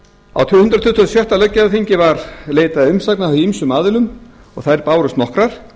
hundrað tuttugasta og sjötta löggjafarþingi var leitað umsagna frá ýmsum aðilum og þær bárust nokkrar